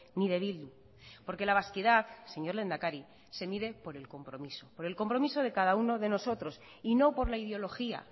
ni de bildu porque la vasquidad señor lehendakari se mide por el compromiso por el compromiso de cada uno de nosotros y no por la ideología